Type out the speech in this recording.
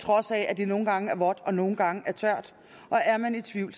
trods af at det nogle gange er vådt og nogle gange er tørt og er man i tvivl